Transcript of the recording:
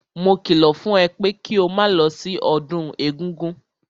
Mo kìlọ̀ fún ẹ pé kí o máa lọ sí ọdún egúngún!